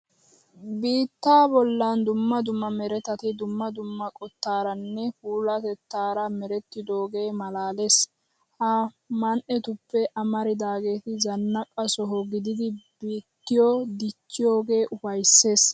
Biittaa bollan dumma dumma meretati dumma dumma qottaaranne puulatettaara merettidoogee maalaalees. Ha man"etuppe amaridaageeti zannaqa soho gididi biittiyo dichchiyogee ufayssees.